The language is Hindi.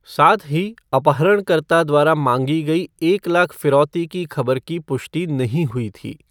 साथ ही, अपहरणकर्ता द्वारा मांगी गई एक लाख फिरौती की खबर की पुष्टि नहीं हुई थी।